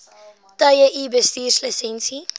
tye u bestuurslisensie